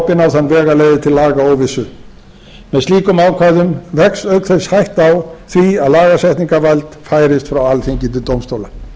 opin á þann veg að leiði til lagaóvissu með slíkum ákvæðum vex auk þess hætta á því að lagasetningarvald færist frá alþingi til dómstóla